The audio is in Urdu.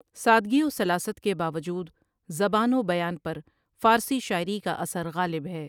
سادگی و سلاست کے باوجود زبان و بیان پر فارسی شاعری کا اثر غالب ہے ۔